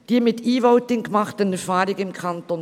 Die mit E-Voting gemachten Erfahrungen im Kanton